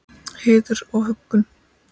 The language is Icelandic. Heiður og huggun.